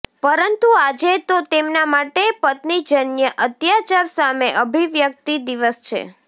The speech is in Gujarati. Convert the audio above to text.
પરંતુ આજે તો તેમના માટે પત્નીજન્ય અત્યાચાર સામે અભિવ્યક્તિ દિવસ છે